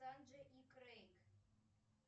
санджей и крейг